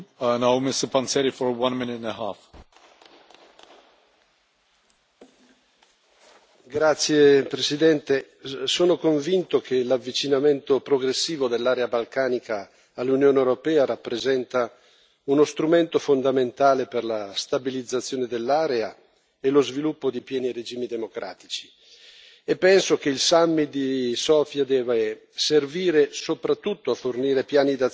Signor Presidente, onorevoli colleghi, sono convinto che l'avvicinamento progressivo dell'area balcanica all'Unione europea rappresenti uno strumento fondamentale per la stabilizzazione dell'area e lo sviluppo di pieni regimi democratici. Penso che il summit di Sofia debba servire soprattutto a fornire piani d'azione per ciascun paese,